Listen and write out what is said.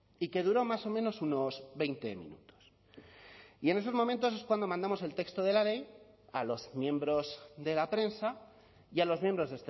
y que duró más o menos unos veinte minutos y en esos momentos es cuando mandamos el texto de la ley a los miembros de la prensa y a los miembros